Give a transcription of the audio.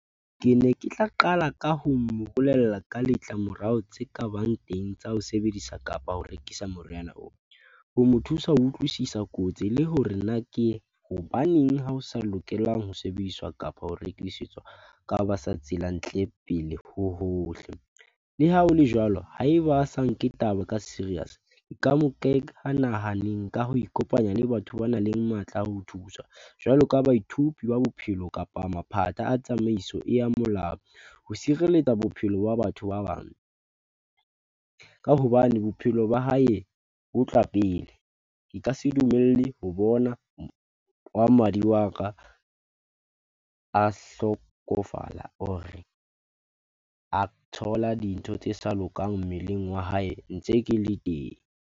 Kene ke tla qala ka ho mo bolella ka letla morao tse kabang teng tsa ho sebedisa kapa ho rekisa moriana oo ho mo thusa ho utlwisisa kotsi le hore na ke hobaneng ha o sa lokelang ho sebediswa kapo ho rekisetswa pele ho hohle. Le ha hole jwalo, ha eba a sa nke taba ka serious. Nka mo nahaneng ka ho ikopanya le batho banang le matla a ho thusa. Jwalo ka ba bophelo kapa a tsamaiso e yang molao ho sireletsa bophelo ba batho ba bang. Ka hobane bophelo ba hae bo tla pele, ke ka se dumelle ho bona wa madi wa ka a hlokofala hore a thola dintho tse sa lokang mmeleng wa hae ntse ke le teng.